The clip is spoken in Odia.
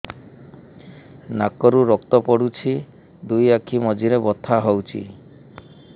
ନାକରୁ ରକ୍ତ ପଡୁଛି ଦୁଇ ଆଖି ମଝିରେ ବଥା ହଉଚି